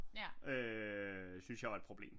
Øh synes jeg er et problem